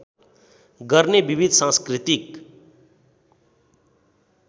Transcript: गर्ने विविध सांस्कृतिक